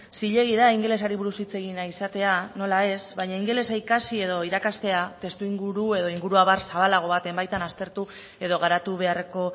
zilegi da ingelesari buruz hitz egin nahi izatea nola ez baina ingelesa ikasi edo irakastea testuinguru edo inguruabar zabalago baten baitan aztertu edo garatu beharreko